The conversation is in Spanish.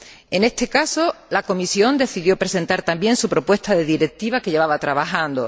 En este caso, la Comisión decidió presentar también su propuesta de Directiva, que llevaba elaborando.